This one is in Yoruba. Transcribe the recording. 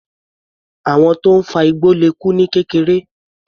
Àwọn tó ń fa igbó le kú ní kékeré.